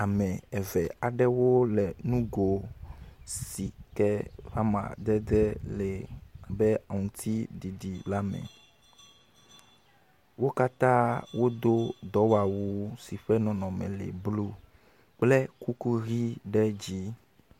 Ame aɖewo le nugo si ke ƒe amadede le be aŋutiɖiɖi la ma. Wo katã wodo awu blu kple kuku ʋɛ̃ ɖe dzi.